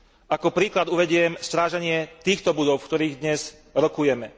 Ako príklad uvediem stráženie týchto budov, v ktorých dnes rokujeme.